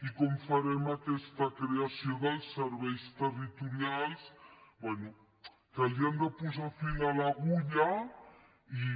i com farem aquesta creació dels serveis territorials bé que han de posar fil a l’agulla i